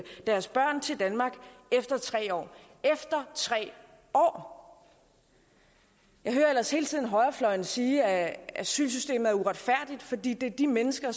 deres børn til danmark efter tre år efter tre år jeg hører ellers hele tiden højrefløjen sige at asylsystemet er uretfærdigt fordi det er de mennesker